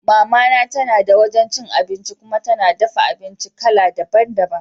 Mama na tana da wajan cin abinci kuma tana dafa abinci kala daban daban.